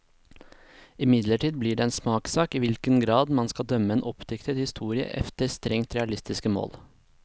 Imidlertid blir det en smakssak i hvilken grad man skal dømme en oppdiktet historie efter strengt realistiske mål.